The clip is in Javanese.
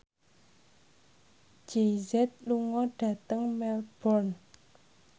Jay Z lunga dhateng Melbourne